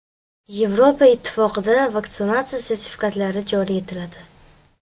Yevropa Ittifoqida vaksinatsiya sertifikatlari joriy etiladi.